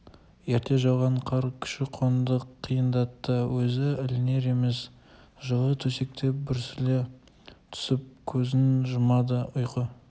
ерте жауған қар көші-қонды қиындатты көзі ілінер емес жылы төсекте бүрісе түсіп көзін жұмады ұйқы